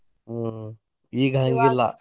ಹ್ಮ್‌ ಈಗ ಹಂಗಿಲ್ಲಾ.